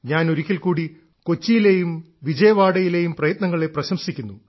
ഞാൻ ഒരിക്കൽക്കൂടി കൊച്ചിയിലെയും വിജയവാഡയിലെയും പ്രയത്നങ്ങളെ പ്രശംസിക്കുന്നു